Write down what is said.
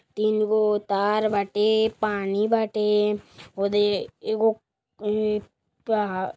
तीन गो तार बाटे पानी बाटे होदे एगो ए पाहड़ --